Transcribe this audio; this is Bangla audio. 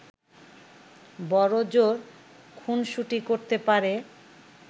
বড়জোর খুনসুটি করতে পারে